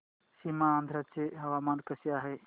सीमांध्र चे हवामान कसे आहे